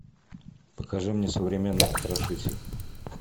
покажи мне современный потрашитель